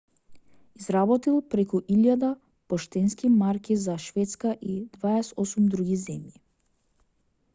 изработил преку 1000 поштенски марки за шведска и 28 други земји